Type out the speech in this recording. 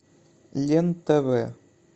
лен тв